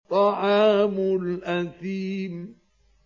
طَعَامُ الْأَثِيمِ